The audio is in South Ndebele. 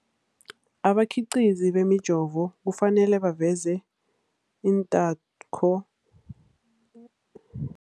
Abakhiqizi bemijovo kufanele baveze iinthako